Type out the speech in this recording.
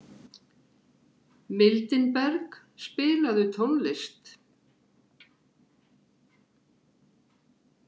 Mildinberg, spilaðu tónlist.